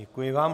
Děkuji vám.